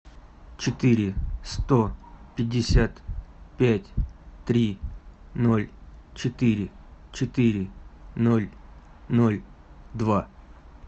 четыре сто пятьдесят пять три ноль четыре четыре ноль ноль два